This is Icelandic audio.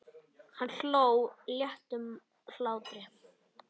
Hann hló léttum hlátri.